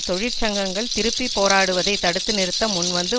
தொழிற்சங்கங்கள் திருப்பி போராடுவதை தடுத்து நிறுத்த முன்வந்து